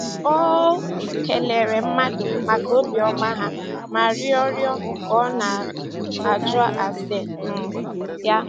um Ọ um kelere mmadụ maka obiọma ha ma rịọ rịọ ka ọ na - ajụ ase um ya.